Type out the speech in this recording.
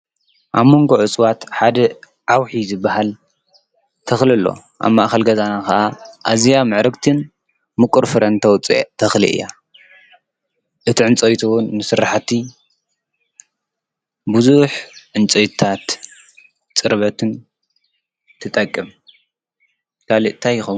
አብ ሞንጎ እፅዋት ሓደ ዓውሒ ዝበሃል ተክሊ አሎ። አብ ማእከል ገዛና ከዓ አዝያ ምዕርግትን ምቁር ፍረን ተውፅእ ተክሊ እያ። እቲ ዕንፀይቱ እውን ንስራሕቲ ብዙሕ ዕንጨይቲታት ፅርበትን ትጠቅም። ካሊእ እንታይ ይኸውን ?